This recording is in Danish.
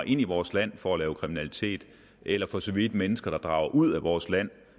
i vores land for at lave kriminalitet eller for så vidt mennesker der drager ud af vores land